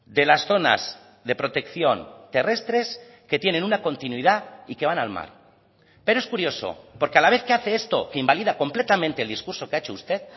de las zonas de protección terrestres que tienen una continuidad y que van al mar pero es curioso porque a la vez que hace esto que invalida completamente el discurso que ha hecho usted